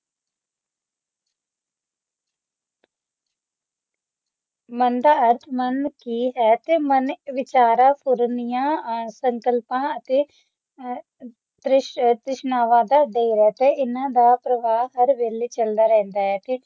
ਮਨ ਦਾ ਅਰਥ ਮਨ ਦੀ ਹੈ ਅਤੇ ਮਨ ਵਿਚਾਰਾਂ ਪੂਰਨਿਆਂ ਆ ਸੰਕਲਪਾਂ ਅਤੇ ਤ੍ਰਿਸ਼ ਤ੍ਰਿਸ਼ਨਾਵਾਂ ਦਾ ਤੀਰਥ ਹੈ ਤੇ ਹਨ ਦਾ ਪ੍ਰਭਾਵ ਹਰ ਵੇਲੇ ਚਲਦਾ ਰਹਿੰਦਾ ਹੈ